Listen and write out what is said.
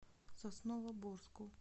сосновоборску